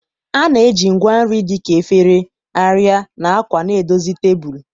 A na-eji ngwa nri dị ka efere, arịa, na akwa na-edozi tebụl.